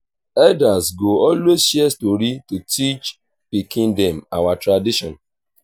elders go always share story to teach pikin them our tradition.